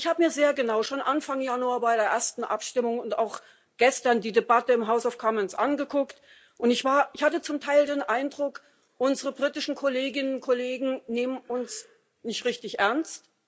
Ich habe mir schon Anfang Januar bei der ersten Abstimmung und auch gestern die Debatte im House of Commons sehr genau angeguckt, und ich hatte zum Teil den Eindruck, unsere britischen Kolleginnen und Kollegen nehmen uns nicht richtig ernst.